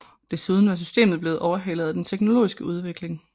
Desuden var systemet blevet overhalet af den teknologiske udvikling